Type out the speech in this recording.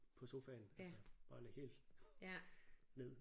På sofaen altså bare ligge helt ned